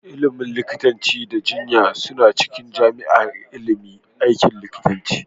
Ilimin likitanci da jinya suna cikin jami'ar ilimin aikin likita